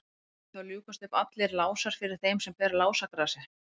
munu þá ljúkast upp allir lásar fyrir þeim sem ber lásagrasið